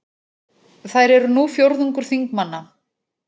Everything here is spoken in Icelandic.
Þær eru nú fjórðungur þingmanna